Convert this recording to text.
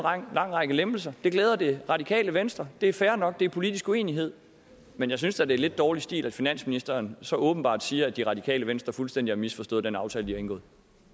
lang række lempelser det glæder det radikale venstre det er fair nok det er politisk uenighed men jeg synes da det er lidt dårlig stil at finansministeren så åbenbart siger at det radikale venstre fuldstændig har misforstået den aftale de har indgået